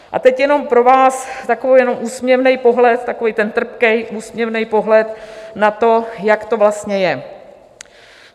A teď jenom pro vás takový jenom úsměvný pohled, takový ten trpký úsměvný pohled na to, jak to vlastně je.